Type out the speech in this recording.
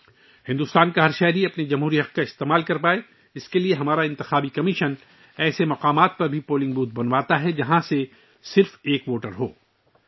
بھارت کے ہر شہری کو اپنے جمہوری حقوق کا استعمال کرنے کے قابل بنانے کے لیے، ہمارا انتخابی کمیشن ان جگہوں پر بھی پولنگ بوتھ قائم کرتا ہے جہاں صرف ایک ووٹر ہوتا ہے